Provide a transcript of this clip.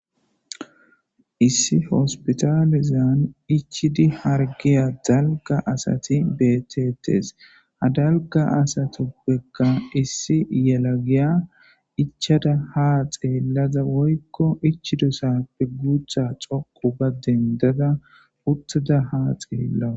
issi hospitalizan ichidi hargiya dalga asati bettetees ha dalga asatoppekka issi yelagiya ichada ha xeellada woykko ichidosappe guutha coqu ba dendada uttada haa xeellawa